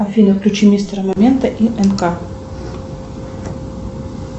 афина включи мимстера момента и эн ка